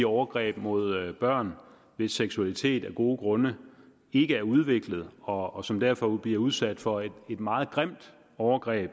overgreb mod børn hvis seksualitet af gode grunde ikke er udviklet og og som derfor bliver udsat for et meget grimt overgreb